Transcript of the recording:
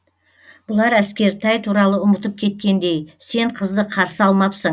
бұлар әскертай туралы ұмытып кеткендей сен қызды қарсы алмапсың